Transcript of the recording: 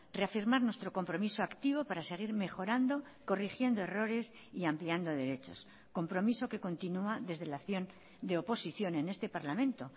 reafirmar nuestro compromiso activo para seguir mejorando corrigiendo errores y ampliando derechos compromiso que continua desde la acción de oposición en este parlamento